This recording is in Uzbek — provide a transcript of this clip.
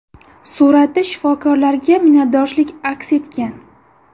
Suratda shifokorlarga minnatdorchilik aks etgan.